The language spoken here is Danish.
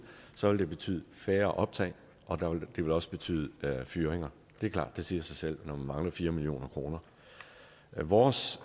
så vil det betyde færre optag og det vil også betyde fyringer det er klart det siger sig selv når man mangler fire million kroner vores